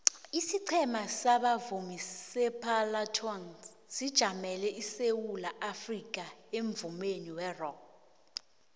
isiqhema sabavumi separlatones sijamele isewula afrikha emvumeni werock